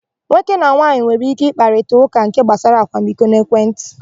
Nwoke na nwaanyị nwere íké ịkparịta ụka nke gbasara akwamiko n'ekwentị.